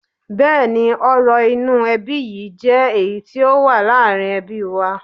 Bẹ́ẹ̀ni, ọrọ̀ inú ẹbí yìí jé èyí tó wà láàrin ẹbí wa.